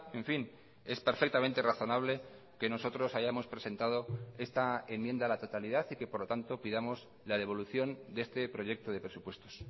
en fin es perfectamente razonable que nosotros hayamos presentado esta enmienda a la totalidad y que por lo tanto pidamos la devolución de este proyecto de presupuestos